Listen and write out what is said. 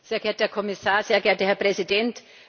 Sehr geehrter Herr Kommissar, sehr geehrter Herr Präsident!